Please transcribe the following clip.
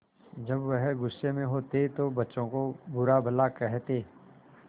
जब वह गुस्से में होते तो बच्चों को बुरा भला कहते